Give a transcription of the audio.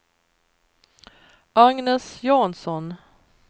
Agnes Jansson